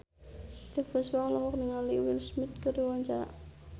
Titiek Puspa olohok ningali Will Smith keur diwawancara